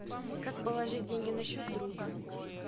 как положить деньги на счет друга